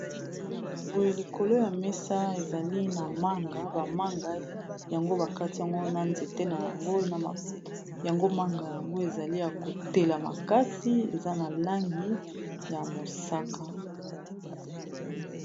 Boye , Likolo ya mesa ezali na manga. Bamanga yango bakati yango na nzete nayango, yango manga , yango ezali ya kotela makasi , eza na langi ya mosaka .